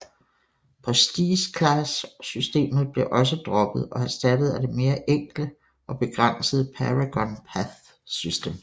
Prestige Class systemet blev også droppet og erstattet af det mere enkle og begrænsede Paragon Path system